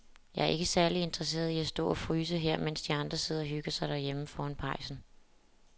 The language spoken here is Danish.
Jeg er ikke særlig interesseret i at stå og fryse her, mens de andre sidder og hygger sig derhjemme foran pejsen.